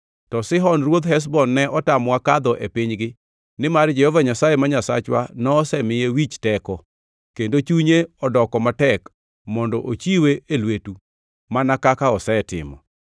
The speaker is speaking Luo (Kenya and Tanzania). To Sihon ruodh Heshbon ne otamowa kadho e pinygi nimar Jehova Nyasaye ma Nyasachwa nosemiye wich teko, kendo chunye odoko matek mondo ochiwe e lwetu mana kaka osetimo.